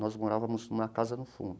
Nós morávamos numa casa do fundo.